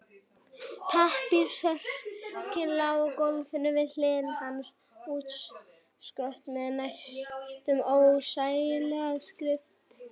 Pappírsörkin lá á gólfinu við hlið hans útkrotuð með næstum ólæsilegri skrift.